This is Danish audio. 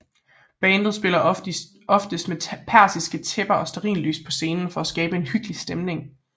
Bandet spiller ofte med persiske tæpper og stearinlys på scenen for at skabe en hyggelig stemning